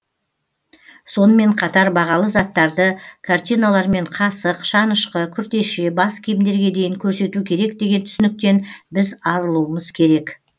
сонымен қатар бағалы заттарды картиналар мен қасық шанышқы күртеше бас киімдерге дейін көрсету керек деген түсініктен біз арылуымыз керек